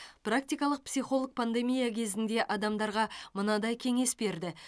практикалық психолог пандемия кезінде адамдарға мынандай кеңес берді